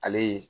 Ale ye